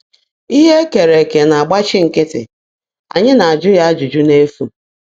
Ihe ekere eke na-agbachi nkịtị, anyị na-ajụ ya ajụjụ n’efu;